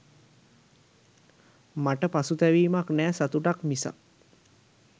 මට පසුතැවීමක් නෑ සතුටක් මිසක්